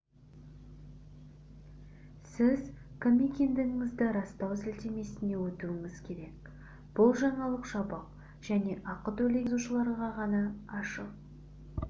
сіз кім екендігіңізді растау сілтемесіне өтуіңіз керек бұл жаңалық жабық және ақы төлеген жазылушыларға ғана ашық